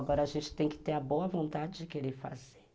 Agora a gente tem que ter a boa vontade de querer fazer.